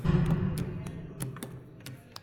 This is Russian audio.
ютуб открой миксы